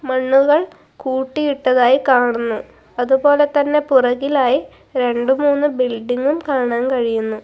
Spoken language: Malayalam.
മണ്ണുകൾ കൂട്ടിയിട്ടതായി കാണുന്നു അതുപോലെതന്നെ പുറകിലായി രണ്ടുമൂന്നു ബിൽഡിംങ്ങും കാണാൻ കഴിയുന്നു.